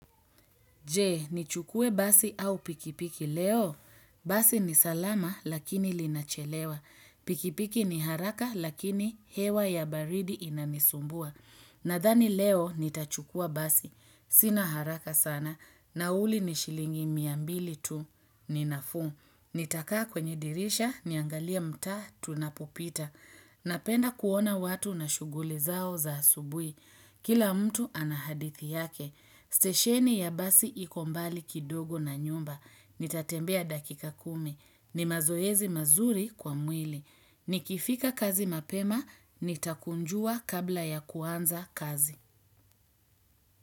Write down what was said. Je, ni chukue basi au pikipiki leo? Basi ni salama lakini linachelewa. Pikipiki ni haraka lakini hewa ya baridi inanisumbua. Nadhani leo ni tachukua basi. Sina haraka sana. Na uli ni shilingi miambili tu ni nafuu. Nitakaa kwenye dirisha, niangalie mtaa, tunapopita. Napenda kuona watu na shuguli zao za asubui. Kila mtu anahadithi yake. Stesheni ya basi ikombali kidogo na nyumba. Nitatembea dakika kumi. Ni mazoezi mazuri kwa mwili. Nikifika kazi mapema, nitakunjua kabla ya kuanza kazi.